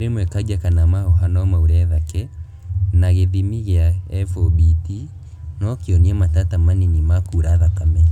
Rĩmwe kanja kana mahũha nomaure thake ,na gĩthimi gĩa FOBT nokĩone matata manini ma kura thakame